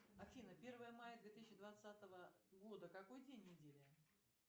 афина первое мая две тысячи двадцатого года какой день недели